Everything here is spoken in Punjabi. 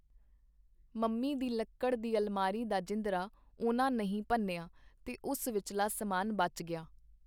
ਮੰਮੀ ਦੀ ਲੱਕੜ ਦੀ ਅਲਮਾਰੀ ਦਾ ਜਿੰਦਰਾ ਉਹਨਾਂ ਨਹੀਂ ਭੰਨਿਆ ਤੇ ਉਸ ਵਿਚੱਲਾ ਸਮਾਨ ਬਚ ਗਿਆ .